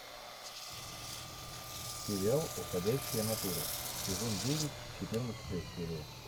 сериал уходящая натура сезон девять четырнадцатая серия